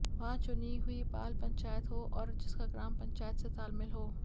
वहां चुनी हुई बाल पंचायत हो और जिसका ग्राम पंचायत से तालमेल हो